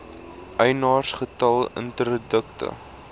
eienaars getal interdikte